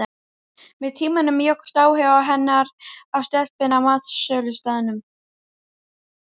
Með tímanum jókst áhugi hennar á stelpunni á matsölustaðnum.